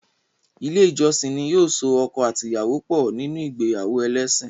Ilé ìjọsìn ní yóò so ọkọ àti ìyàwó pọ̀ níní ìgbéyàwó ẹlésìn.